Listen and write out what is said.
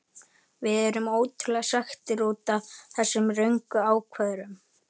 Við erum ótrúlega svekktir útaf þessum röngu ákvörðunum.